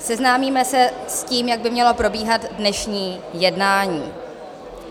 Seznámíme se s tím, jak by mělo probíhat dnešní jednání.